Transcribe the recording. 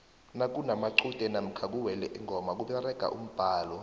nakunamacude namkha kuwele ingoma kuberega umbhalo